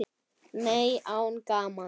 Nei, án gamans.